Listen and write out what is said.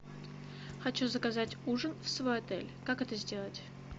хочу заказать ужин в свой отель как это сделать